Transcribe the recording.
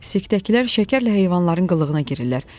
Sikdəkilər şəkərlə heyvanların qılığına girirlər.